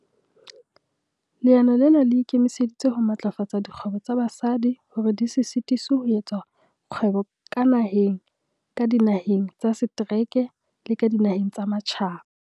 Leano lena le ikemiseditse ho matlafatsa dikgwebo tsa basadi hore di se sitiswe ho etsa kgwebo ka naheng, ka dinaheng tsa setereke le ka dinaheng tsa matjhaba.